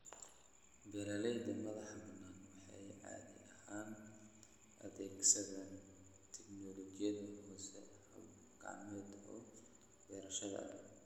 Beeralayda madaxa-banaan waxay caadi ahaan adeegsadaan tignoolajiyada hoose, habab gacmeed oo beerashada.